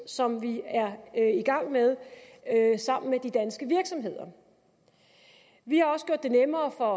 som vi er i gang med sammen med de danske virksomheder vi har også gjort det nemmere for